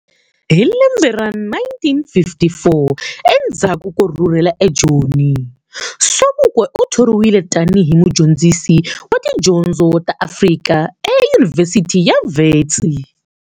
Hi lembe ra 1954 endzhaku ko rhurhela e Joni, Sobukwe uthoriwile tani hi mudyondzisi wa tidyondzo ta Afrika e Yunivhesithi ya Vhetsi.